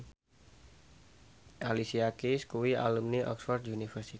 Alicia Keys kuwi alumni Oxford university